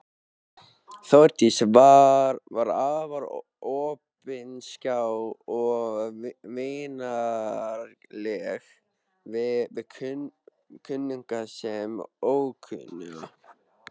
Þórdís var afar opinská og vingjarnleg við kunnuga sem ókunnuga.